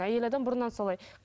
әйел адам бұрыннан солай